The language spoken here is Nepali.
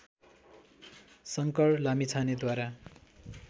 शङ्कर लामिछानेद्वारा